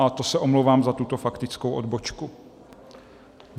A to se omlouvám za tuto faktickou odbočku.